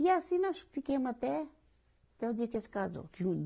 E assim nós fiquemo até, até o dia que eles casou.